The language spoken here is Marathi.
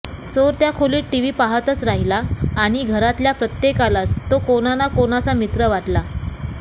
चोर त्या खोलीत टीव्ही पाहतच राहिला आणि घरातल्या प्रत्येकालाच तो कोणा ना कोणाचा मित्र वाटला